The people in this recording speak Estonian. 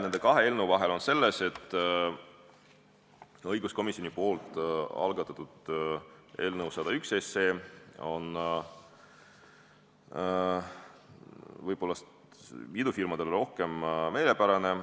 Nende kahe eelnõu vahe on selles, et õiguskomisjoni algatatud eelnõu 101 on võib-olla idufirmadele rohkem meelepärane.